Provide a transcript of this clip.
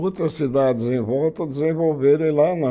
Outras cidades em volta desenvolveram e lá não.